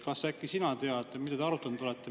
Kas sina tead, mida te arutanud olete?